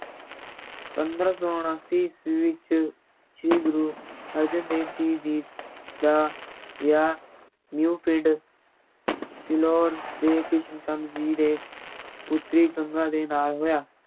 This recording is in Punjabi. ਪੰਦਰਾਂ ਸੌ ਉਣਾਸੀ ਈਸਵੀ ਵਿੱਚ ਸ੍ਰੀ ਗੁਰੂ ਅਰਜਨ ਦੇਵ ਜੀ ਦੀ ਦਾ ਵਿਆਹ ਮੀਓ ਪਿੰਡ ਫਿਲੌਰ ਦੇ ਕ੍ਰਿਸ਼ਨ ਚੰਦ ਜੀ ਦੇ ਪੁੱਤਰੀ ਗੰਗਾ ਦੇ ਨਾਲ ਹੋਇਆ।